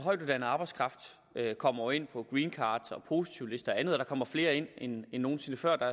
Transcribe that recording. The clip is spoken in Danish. at højtuddannet arbejdskraft jo kommer ind på green cards og positivlister og andet og der kommer flere ind end nogen sinde før der